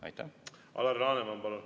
Alar Laneman, palun!